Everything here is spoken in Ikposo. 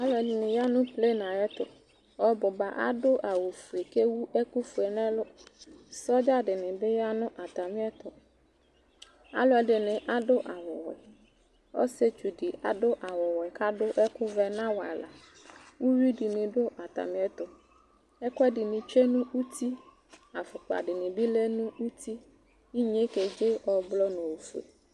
Alʋɛdɩnɩ ya nʋ plen ayɛtʋ, ɔbʋ ba adʋ awʋfue kʋ ewu ɛkʋfue nʋ ɛlʋ Sɔdza dɩnɩ bɩ ya nʋ atamɩɛtʋ Alʋɛdɩnɩ adʋ awʋwɛ, ɔsɩetsu dɩ adʋ awʋwɛ kʋ adʋ ɛkʋvɛ nʋ awʋ ava Uyui dɩnɩ dʋ atamɩɛtʋ Ɛkʋɛdɩnɩ tsue nʋ uti Afʋkpa dɩnɩ bɩ lɛ nʋ uti Inye yɛ keze ɔblɔ nʋ ofue